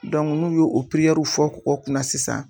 Dɔnku n'u y'o o piriyɛrɛruw fɔ kɔgɔ kunna sisan